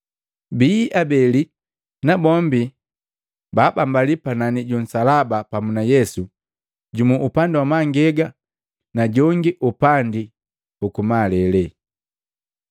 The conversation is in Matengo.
Bii abeli nabombi baabambalia panani ju nsalaba pamu na Yesu, jumu upandi uku mangegi na gongi upandi uku malele.